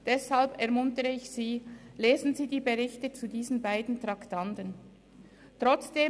Deshalb ermuntere ich Sie dazu, die Berichte zu diesen beiden Traktanden zu lesen.